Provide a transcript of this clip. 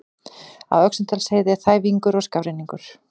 Á Öxnadalsheiði er þæfingur og skafrenningur